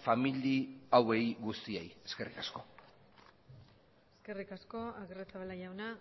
famili hauei guztiei eskerrik asko eskerrik asko agirrezabala jauna